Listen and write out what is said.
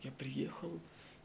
я приехал